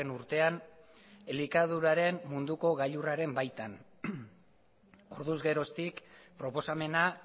urtean elikaduraren munduko gailurraren baitan orduz geroztik proposamena